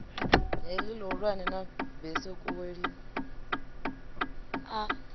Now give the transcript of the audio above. heḽi ḽihulwane ḽa besekuwe lini